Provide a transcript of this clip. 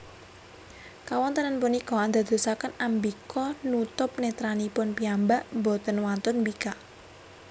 Kawontenan punika andadosaken Ambika nutup netranipun piyambak boten wantun mbikak